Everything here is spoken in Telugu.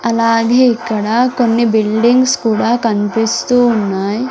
అలాగే ఇక్కడ కొన్ని బిల్డింగ్స్ కూడా కన్పిస్తూ ఉన్నాయ్.